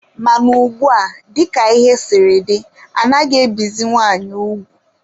Mana ugbua, dika ihe siri dị, anaghị ebizi nwaanyị ugwu.